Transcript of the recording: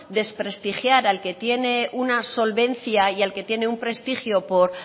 desprestigiar al que tiene una solvencia y al que tiene un prestigio por